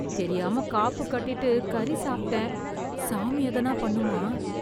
தெரியாம காப்பு கட்டிட்டு கறி சாப்பிட்டேன். சாமி எதனா பண்ணுமா?